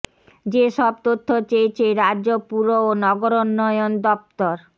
যে সব তথ্য চেয়েছে রাজ্য পুর ও নগরোন্নয়ন দফতর